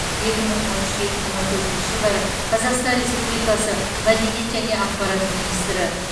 екі мың он үш екі мың он төртінші жылдары қазақстан республикасы мәдениет және ақпарат министрі